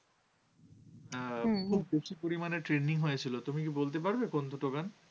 প্রচুর পরিমাণে trending হয়েছিল। তুমি কি বলতে পারবে কোন দুটো গান?